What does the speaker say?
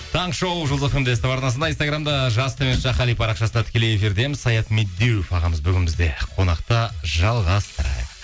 таңғы шоу жұлдыз фм де ств арнасында инстаграмда жас қали парақшасында тікелей эфирдеміз саят медеуов ағамыз бүгін бізде қонақта жалғастырайық